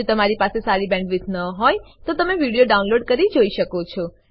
જો તમારી પાસે સારી બેન્ડવિડ્થ ન હોય તો તમે વિડીયો ડાઉનલોડ કરીને જોઈ શકો છો